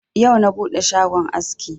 Yau na buɗe shagon aski.